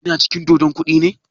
Ya na cin dodon koɗi ne?